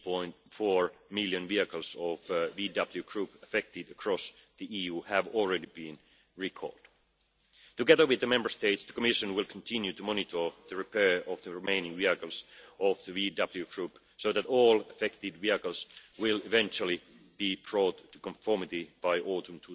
8.4 million vehicles of the VW Group affected across the EU had already been recalled. Together with the Member States, the Commission will continue to monitor the repair of the remaining vehicles of the VW Group so that all affected vehicles will eventually be brought to conformity by autumn